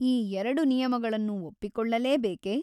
ಈ ಎರಡು ನಿಯಮಗಳನ್ನು ಒಪ್ಪಿಕೊಳ್ಳಲೇಬೇಕೆ ?